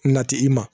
Nati i ma